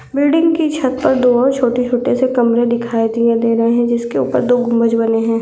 Building कि छत पर दो छोटे-छोटे कमरे दिखाई दे रही है जिसके उपर दो गुंबज बने है।